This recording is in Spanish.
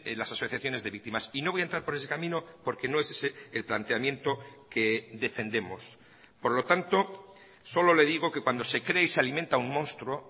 las asociaciones de víctimas y no voy a entrar por ese camino porque no es ese el planteamiento que defendemos por lo tanto solo le digo que cuando se cree y se alimenta un monstruo